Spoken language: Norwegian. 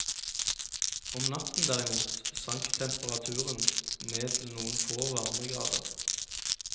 Om natten derimot sank temperaturen ned til noen få varmegrader.